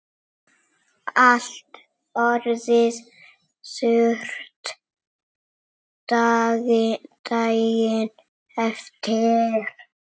Allt orðið þurrt daginn eftir.